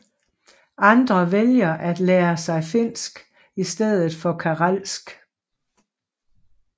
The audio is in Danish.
Andre vælger at lære sig finsk i stedet for karelsk